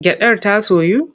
Gyaɗar ta soyu?